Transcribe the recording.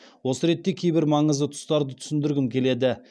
осы ретте кейбір маңызды тұстарды түсіндіргім келеді